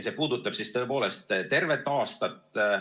See puudutab tervet aastat.